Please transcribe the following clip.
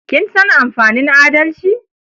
Kin san amfanin adalci?